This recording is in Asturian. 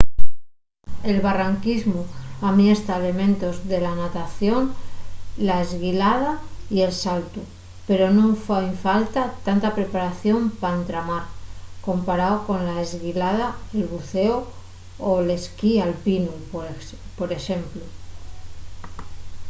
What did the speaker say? el barranquismu amiesta elementos de la natación la esguilada y el saltu – pero nun fai falta tanta preparación pa entamar comparao a la esguilada el bucéu o l’esquí alpinu por exemplu